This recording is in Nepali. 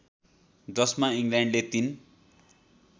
जसमा इङ्ल्यान्डले तीन